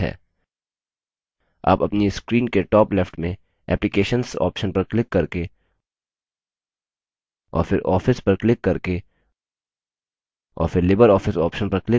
आप अपनी screen के top left में applications option पर क्लिक करके और फिर office पर क्लिक करके और फिर libreoffice option पर क्लिक करके लिबर office impress पा सकते हैं